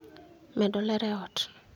medo ler e ot